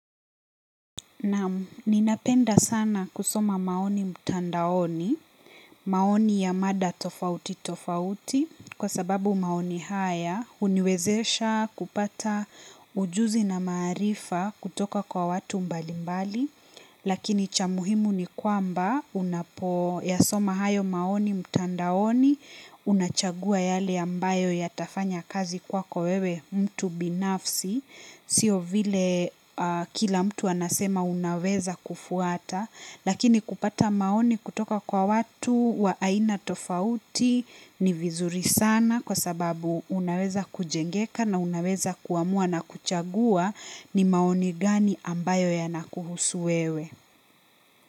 Naam ninapenda sana kusoma maoni mtandaoni, maoni ya mada tofauti tofauti kwa sababu maoni haya huniwezesha kupata ujuzi na maarifa kutoka kwa watu mbali mbali. Lakini cha muhimu ni kwamba unapo yasoma hayo maoni mtandaoni unachagua yale ambayo yatafanya kazi kwako wewe mtu binafsi sio vile kila mtu anasema unaweza kufuata lakini kupata maoni kutoka kwa watu wa aina tofauti ni vizuri sana kwa sababu unaweza kujengeka na unaweza kuamua na kuchagua ni maoni gani ambayo yana kuhusu wewe.